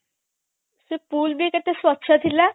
ସେ pool ବି କେତେ ସ୍ବଚ୍ଛ ଥିଲା